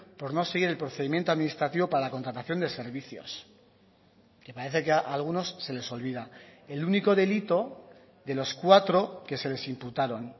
por no seguir el procedimiento administrativo para la contratación de servicios que parece que a algunos se les olvida el único delito de los cuatro que se les imputaron